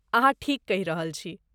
अहाँ ठीक कहि रहल छी।